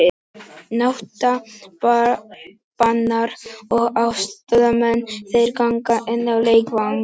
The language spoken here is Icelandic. Nautabanar og aðstoðarmenn þeirra ganga inn á leikvang.